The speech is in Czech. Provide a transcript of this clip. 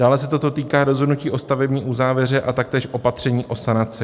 Dále se toto týká rozhodnutí o stavební uzávěře a taktéž opatření o sanaci.